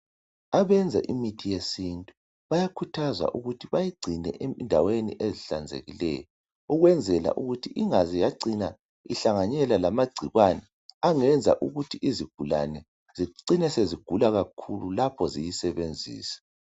Abenza imithi yesintu bayakhuthazwa ukuthi bayigcine endaweni ezihlanzekileyo ukwenzela ukuthi ingaze yacina ihlanganyela lamagcikwane angenza ukuthi izigulane zicine sezigula kakhulu lapho ziyisebenzisa.